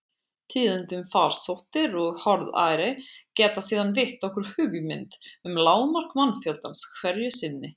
Tíðindi um farsóttir og harðæri geta síðan veitt okkur hugmynd um lágmark mannfjöldans hverju sinni.